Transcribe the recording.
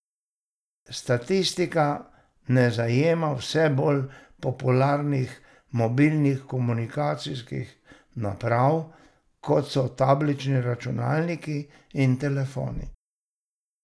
Statistika ne zajema vse bolj popularnih mobilnih komunikacijskih naprav, kot so tablični računalniki in telefoni.